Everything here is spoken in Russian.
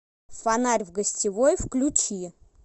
фонарь в гостевой включи